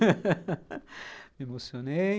Me emocionei.